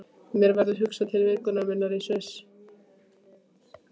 Mér verður hugsað til vikunnar minnar í Sviss.